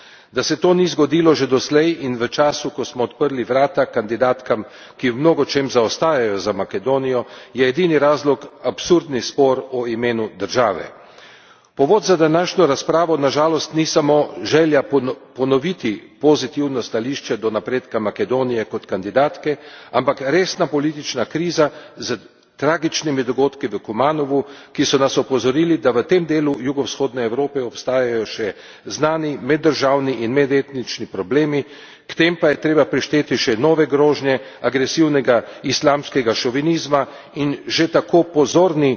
Da se to ni zgodilo že doslej in v času, ko smo odprli vrata kandidatkam, ki v mnogočem zaostajajo za Makedonijo, je edini razlog absurdni spor o imenu države. Povod za današnjo razpravo na žalost ni samo želja ponoviti pozitivno stališče do napredka Makedonije kot kandidatke, ampak resna politična kriza s tragičnimi dogodki v Kumanovu, ki so nas opozorili, da v tem delu jugovzhodne Evrope obstajajo še znani meddržavni in medetnični problemi, k tem pa je treba prišteti še nove grožnje agresivnega islamskega šovinizma in že tako prozorni